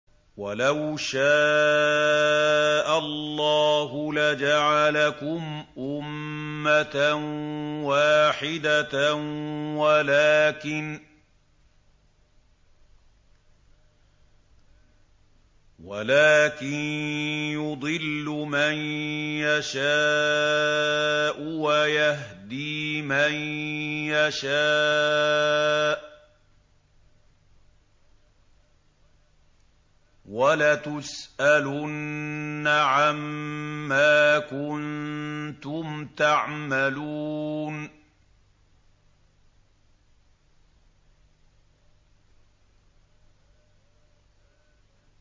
وَلَوْ شَاءَ اللَّهُ لَجَعَلَكُمْ أُمَّةً وَاحِدَةً وَلَٰكِن يُضِلُّ مَن يَشَاءُ وَيَهْدِي مَن يَشَاءُ ۚ وَلَتُسْأَلُنَّ عَمَّا كُنتُمْ تَعْمَلُونَ